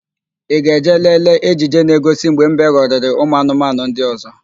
Ị ga-eje lelee ejije na-egosi mgbe mbe ghọrịrị ụmụanụmanụ ndị ọ̀zọ́?